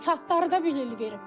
Çatları da bir il verib.